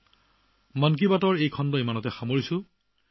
বন্ধুসকল মন কী বাতৰ এই খণ্ড আজিলৈ ইমানেই